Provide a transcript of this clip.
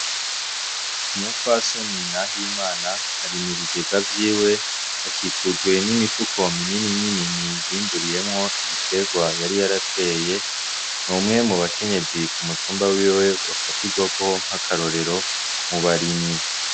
Umupfasoni Nahimana ari mu bigega vyiwe akikujwe n’imifuko minini minini yimburiyemwo ibiterwa yari yarateye . N’umwe mu bakenyezi ku mutumba wiwe bafatirwako nk’akarorero mubarimyi .